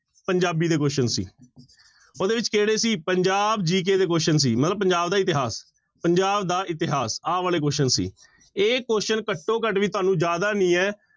ਪੰਜਾਬੀ ਦੇ question ਸੀ, ਉਹਦੇ ਵਿੱਚ ਕਿਹੜੇ ਸੀ ਪੰਜਾਬ GK ਦੇ question ਸੀ ਮਤਲਬ ਪੰਜਾਬ ਦਾ ਇਤਿਹਾਸ, ਪੰਜਾਬ ਦਾ ਇਤਿਹਾਸ ਆਹ ਵਾਲੇ question ਸੀ, ਇਹ question ਘੱਟੋ ਘੱਟ ਵੀ ਤੁਹਾਨੂੰ ਜ਼ਿਆਦਾ ਨੀ ਹੈ